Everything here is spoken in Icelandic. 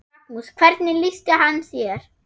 Magnús: Hvernig lýsti hann sér?